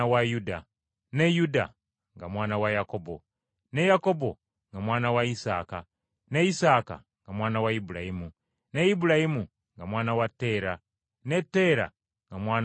ne Yuda nga mwana wa Yakobo, ne Yakobo nga mwana wa Isaaka, ne Isaaka nga mwana wa lbulayimu, ne Ibulayimu nga mwana wa Teera, ne Teera nga mwana wa Nakoli,